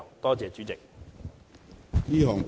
多謝主席。